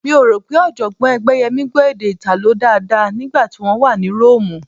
Mi ò rò pé Ọ̀jọ̀gbọ́n Ẹgbẹ́yẹmí gbọ́ èdè Ìtàló dáadáa nígbà tí wọ́n wà ní Róòmù